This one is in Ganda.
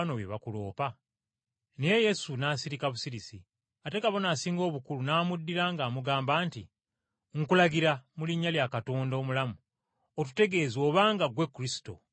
Naye Yesu n’asirika busirisi. Ate Kabona Asinga Obukulu, n’amuddira ng’amugamba nti, “Nkulagira, mu linnya lya Katonda omulamu otutegeeze obanga Ggwe Kristo, Omwana wa Katonda.”